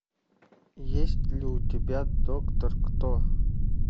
есть ли у тебя доктор кто